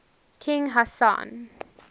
king hassan